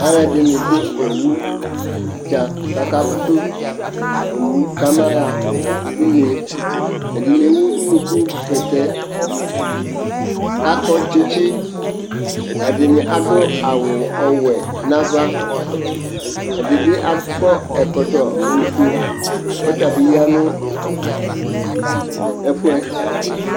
alʋɛdini dʋɔwʋdza kʋ aka ƒʋsʋ ɔwʋ kʋ ama ha ʋnɛ, ɛdini ɛwʋ ʋnʋkʋ bɛtɛ kʋ akɔ tsitsi, ɛdini adʋ awʋ ɔwɛ nʋ aɣa, ɛdibi akɔ ɛkɔtɔ ɔƒʋɛ kʋ ɔtabi yanʋ ɛƒʋɛ